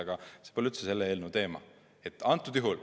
Aga see pole üldse selle eelnõu teema.